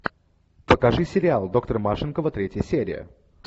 покажи сериал доктор машинкова третья серия